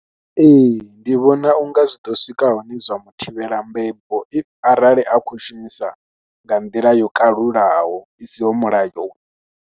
Ee ndi vhona u nga zwi ḓo swika hune zwa mu thivhela mbebo if arali a khou shumisa nga nḓila yo kalulaho i siho mulayo.